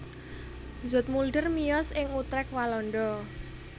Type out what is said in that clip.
Zoetmulder miyos ing Utrecht Walanda